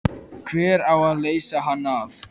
Hver á að leysa hann af?